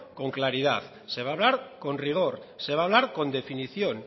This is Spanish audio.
con claridad se va hablar con rigor se va hablar con definición